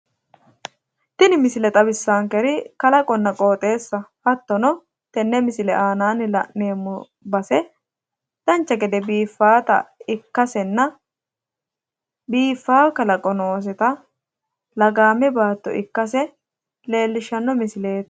Tini misile xawissankeri kalaqonna qooxxeessaho. Hattono tenne misile aanaanni la'neemmo base dancha gede biiffaata ikkasenna biiffaa kalaqo nooseta lagaame baatto ikkase leellishshanno misileeti.